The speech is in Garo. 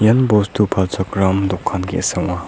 ian bostu palchakram dokan ge·sa ong·a.